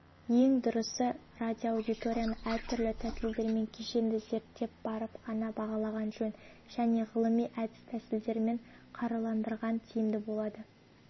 ең дұрысы радиоаудиторияны әртүрлі тәсілдермен кешенді зерттеп барып қана бағалаған жөн және ғылыми әдіс-тәсілдермен қаруландырған тиімді болады